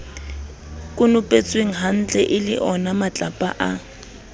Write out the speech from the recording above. konopetswenghantle e le onamatlapa a